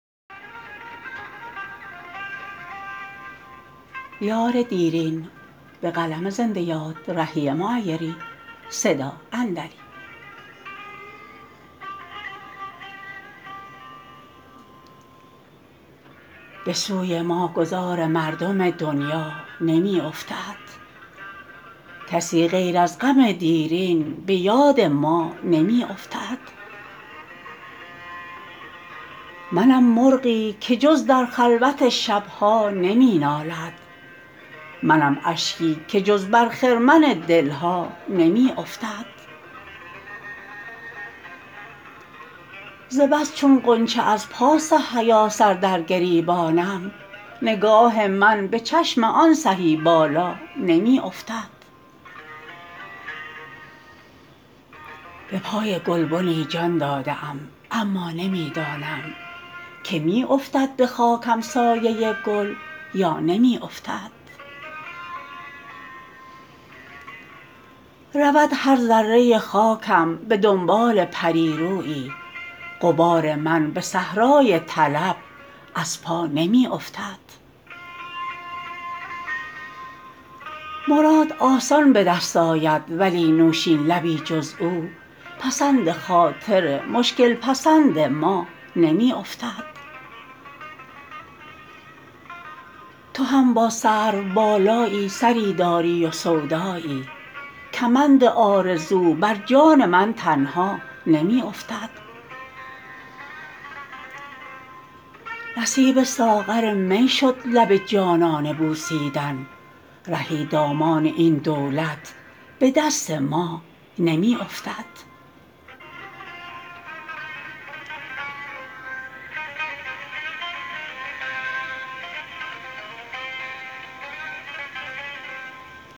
به سوی ما گذار مردم دنیا نمی افتد کسی غیر از غم دیرین به یاد ما نمی افتد منم مرغی که جز در خلوت شب ها نمی نالد منم اشکی که جز بر خرمن دل ها نمی افتد ز بس چون غنچه از پاس حیا سر در گریبانم نگاه من به چشم آن سهی بالا نمی افتد به پای گلبنی جان داده ام اما نمی دانم که می افتد به خاکم سایه گل یا نمی افتد رود هر ذره خاکم به دنبال پری رویی غبار من به صحرای طلب از پا نمی افتد مراد آسان به دست آید ولی نوشین لبی جز او پسند خاطر مشکل پسند ما نمی افتد تو هم با سروبالایی سری داری و سودایی کمند آرزو برجان من تنها نمی افتد نصیب ساغر می شد لب جانانه بوسیدن رهی دامان این دولت به دست ما نمی افتد